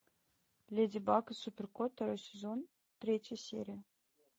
леди баг и супер кот второй сезон третья серия